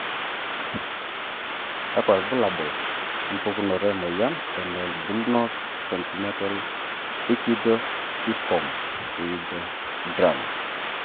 kakwa ilbulabul opukunoto emoyian eNonbullous congenital ichthyosiform erythroderma?